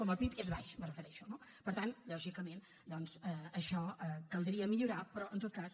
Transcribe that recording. com el pib és baix me refereixo no per tant lògicament doncs això caldria millorar ho però en tot cas